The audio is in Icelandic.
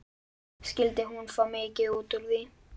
Skyldi hún fá mikið út úr því?